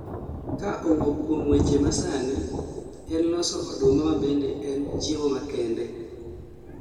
ka owuok kuom weche masani en loso oduma mabende en chiemo makendee